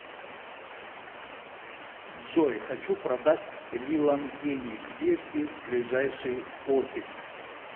джой хочу продать лилангени где здесь ближайший офис